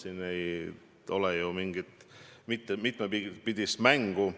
Siin ei ole mingit mitmepidist mängu.